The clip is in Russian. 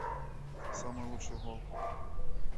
самый лучший гол